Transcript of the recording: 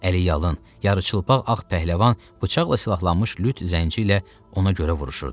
Əli yalın, yarıçılpaq ağ pəhləvan bıçaqla silahlanmış lüt zənci ilə ona görə vuruşurdu.